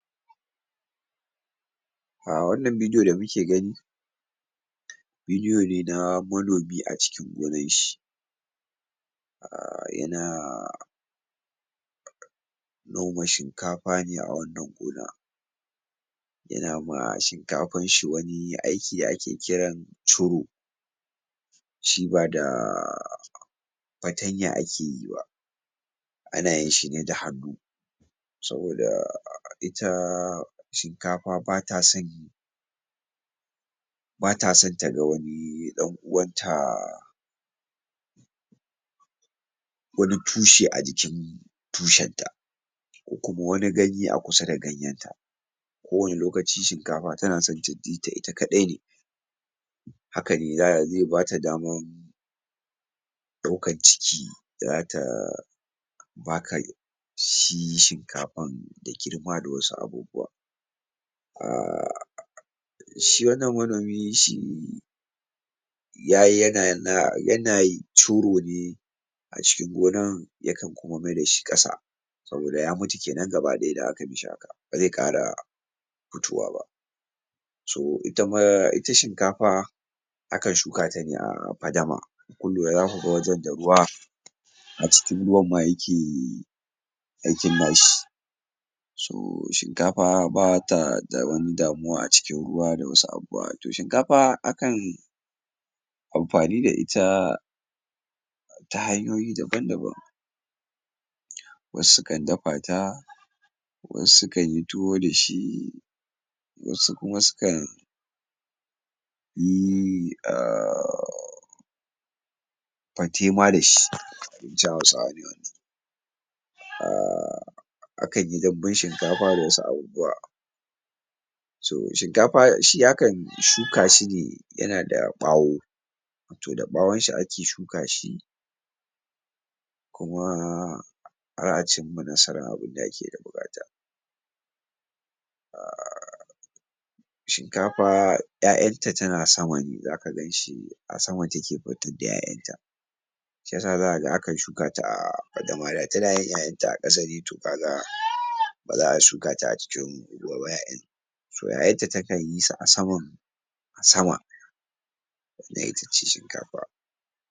A wannan bidi o da mule gani bidi o ne na manomin acikin gonan shi a: yana noma shinkafane a wannan gona yanama shi kafanshi wani aiki ake kiran ciru fatanya akeyiba anayinshine da hannu saboda ita shinkafa bata son bata sonta dawani ɗan uwanta wani tushe ajikin tushenta ko kuma wani ganye akusa da ganyen ta kowani lokaci shinkafa tanaso tajita ita ka ɗai ne hakane ze bata daman lokan ciki zata baka shi shinkafan da girma da wasu abubuwa a: shi wannan manomi shi yayi yana na yanayi curone acikin gonan yakan kuma mai dashi ƙasa saboda ya mutu kenan gaba ɗaya da akai mishi haka baze ƙara fitowaba to itama ita shin kafa akan shuka tane afadama kunlura zakuga wajan da ruwa acikin ruwanma yake aikin nashi sau shinkfa ba ta da wani damuwa acikin ruwa wa to shinkafa akan amfani da ita ta hanyoyi daban daban wasu sukan dafata wasu sukanyi tuwo dashi wasu kuma sukan yi a: fatema dashi abinci hausawa ne wannan a: akanyi danbun shinkafa da wasu abubuwa to shinkafa shi akan shukashi ne yanada ɓawo to da ɓawonshi ake shukashi kuma ana cimma nasara a abun da ake da buƙata a: shin kafa ƴaƴanta tana sama ne zaka ganshi asaman take fitar da ƴaƴanta shi yasa zakaga akan shukata a tanayin ƴaƴanta a ƙasa ne to kaga baza a shukata acikin? to yayatta takan yisu asaman sama nayita cin shinkafa